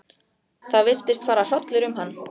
Það virtist fara hrollur um hann.